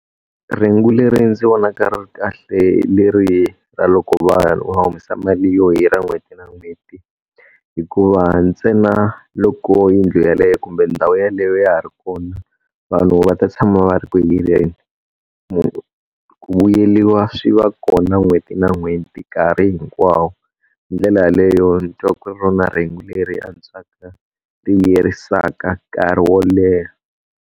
Rhengu leri ndzi vonaka ri ri kahle hi leri ra loko va u humesa mali yo hirha n'hweti na n'hweti, hikuva ntsena loko yindlu yeleyo kumbe ndhawu yeleyo ya ha ri kona vanhu va ta tshama va ri ku hireni. ku vuyeliwa swi va kona n'hweti na n'hweti nkarhi hinkwawo. Hi ndlela yeleyo ndzi twa ku ri rona rhengu leri antswaka ti vuyerisaka nkarhi wo leha.